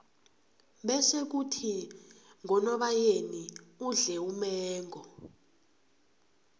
bese khuthi ngonobayeni udle umengo